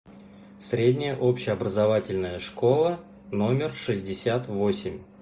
средняя общеобразовательная школа номер шестьдесят восемь